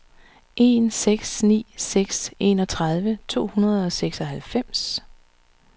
en seks ni seks enogtredive to hundrede og seksoghalvfems